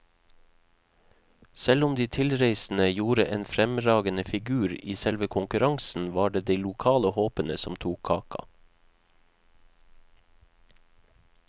Selv om de tilreisende gjorde en fremragende figur i selve konkurransen, var det de lokale håpene som tok kaka.